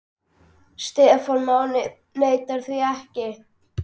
Stefán Máni neitar því ekki.